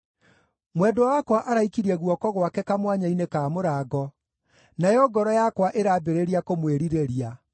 Mwendwa wakwa araikirie guoko gwake kamwanya-inĩ ka mũrango, nayo ngoro yakwa ĩrambĩrĩria kũmwĩrirĩria.